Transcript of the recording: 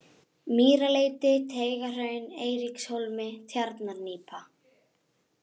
Mýraleiti, Teigahraun, Eiríkshólmi, Tjarnarnípa